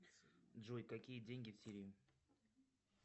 джой какие деньги в сирии